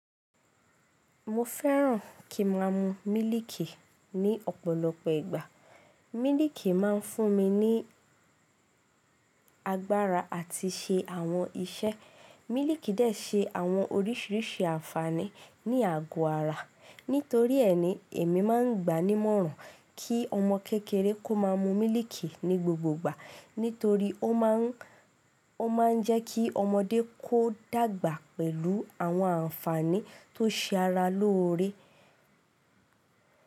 Mo fẹ́ràn kí ma mu mílìkì ní ọ̀pọ̀lọpọ̀ ìgbà. Mílìkì máa ń fún mi ní agbára àti ṣe àwọn iṣẹ́. Mílìkì díẹ̀ ṣe àwọn oríṣiríṣi àǹfààní ní àgọ́ ara. Nítorí ẹni, èmi máa ń gba ní ìmọ̀ràn kí ọmọ kékeré kó máa mu mílìkì ní gbogbo ìgbà. Nítorí ó máa ń jẹ́ kí ọmọdé kó dàgbà pẹ̀lú àwọn àǹfààní tó ṣe ara lóore.